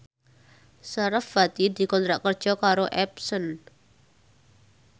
sarasvati dikontrak kerja karo Epson